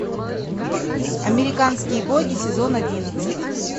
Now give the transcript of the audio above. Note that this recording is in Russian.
американские боги сезон одиннадцать